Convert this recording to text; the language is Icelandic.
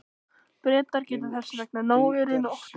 Bretar geta þess vegna náð mér í nótt.